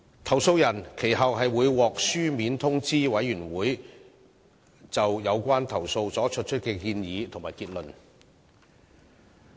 投訴人其後會獲書面通知委員會就有關投訴所作出的建議和結論。